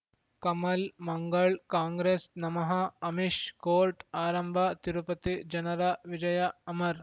ಕಮಲ್ ಮಂಗಳ್ ಕಾಂಗ್ರೆಸ್ ನಮಃ ಅಮಿಷ್ ಕೋರ್ಟ್ ಆರಂಭ ತಿರುಪತಿ ಜನರ ವಿಜಯ ಅಮರ್